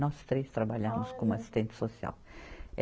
Nós três trabalhamos como assistente social.